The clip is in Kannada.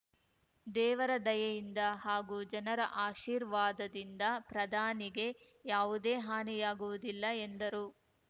ದೇವರ ದಯೆಯಿಂದ ಹಾಗೂ ಜನರ ಆಶೀರ್ವಾದದಿಂದ ಪ್ರಧಾನಿಗೆ ಯಾವುದೇ ಹಾನಿಯಾಗುವುದಿಲ್ಲ ಎಂದರು